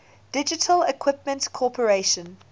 digital equipment corporation